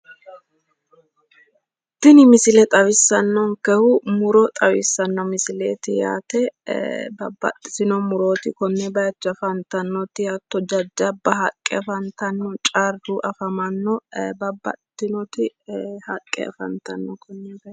Tini misile xawissanonikehu muro xawisanno misileet uaate babbaxitino muroot konne bayicho afanitannot hatto jajjajabba haqqe afanitanno carru afamanno babbaxitinoti haqqe afanitanno konne baayicho